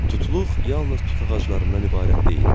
Tutluq yalnız tut ağaclarından ibarət deyildi.